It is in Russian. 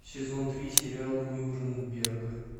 сезон три сериал нюрнберг